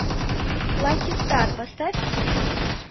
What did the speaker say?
лаки стар поставь